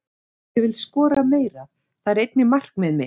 Ég vil skora meira, það er einnig markmiðið mitt.